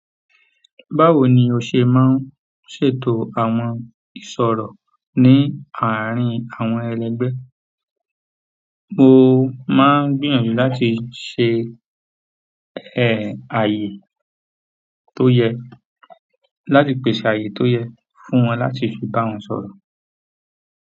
Báwo ni o se maa n ṣètò àwọn ìṣòro ni àárín àwọn elegbe. Mo máa ń gbìyànjú láti ṣe ẹ̀ ààyè tó yẹ láti pèsè ààyè tó yẹ fún wọn láti fi bá wọn sọ̀rọ̀.